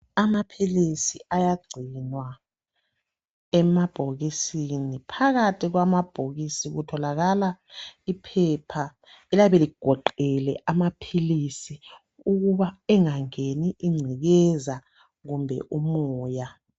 Amaphilisi ayagcinwa emabhokisini phakathi kwamabhokisi kutholakala iphepha eliyabe ligoqele amaphilisi ukuba engangeni ingcekeza kumbe umoya.